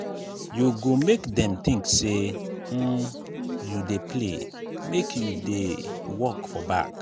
you go make dem tink sey um you dey play make you dey work for back.